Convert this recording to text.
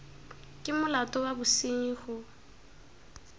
ke molato wa bosenyi go